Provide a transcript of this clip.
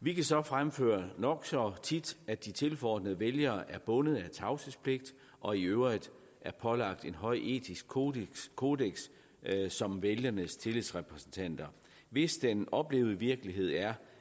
vi kan så fremføre nok så tit at de tilforordnede vælgere er bundet af tavshedspligt og i øvrigt er pålagt et højt etisk kodeks kodeks som vælgernes tillidsrepræsentanter hvis den oplevede virkelighed er